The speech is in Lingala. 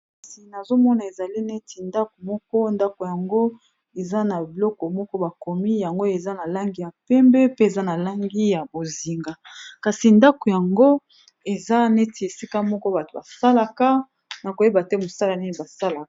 Kasi nazomona ezali neti ndako moko ndako yango eza na biloko moko bakomi yango eza na langi ya mpembe, pe eza na langi ya bozinga, kasi ndako yango eza neti esika moko bato basalaka na koyeba te mosala nini basalaka.